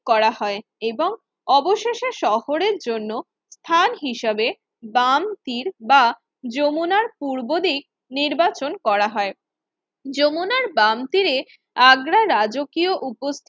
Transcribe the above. করা হয় এবং অবশেষে শহরের জন্য স্থান হিসেবে বাম তীর বা যমুনার পূর্বদিক নির্বাচন করা হয় যমুনার বাম তীরে আগ্রার রাজকীয় উপ